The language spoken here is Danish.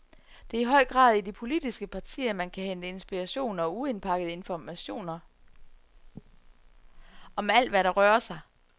Det er i høj grad i de politiske partier, man kan hente inspiration og uindpakkede informatiner om alt, hvad der rører sig.